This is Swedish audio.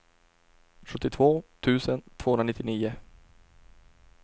sjuttiotvå tusen tvåhundranittionio